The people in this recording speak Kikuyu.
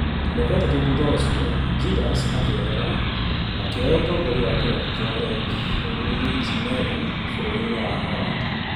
Mĩaka ĩtatũ thutha ũcio, Ljinders akĩehera akĩoya ũtongoria wa kĩrabu kĩa NEC Nijmegen bũrũri-inĩ wa Holland